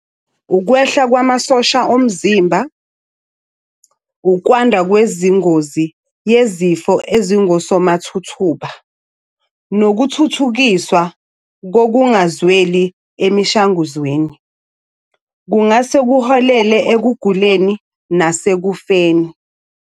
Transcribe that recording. Ukwehla kwamasosha omzimba, ukwanda kwezingozi yezifo ezingosomathuthuba, nokuthuthukiswa kokungazweli emishanguzweni kungase kuholele ekuguleni nasekufeni.